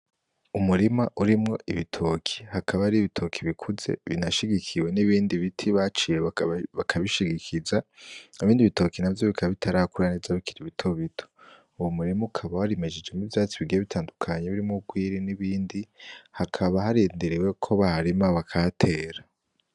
Umurima urimwo ibitoke, hakaba hariho ibitoke bikuze binashigikiwe n' ibindi biti baciye bakabishigikiza, ibindi bitoke navyo bikaba bitarakura neza bikiri bitoto, uwo murima ukaba warimejejemwo ivyatsi bigiye bitandukanye birimwo urwiri n'ibindi hakaba harindiriwe ko baharima bakahatera.